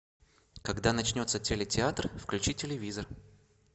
когда начнется телетеатр включи телевизор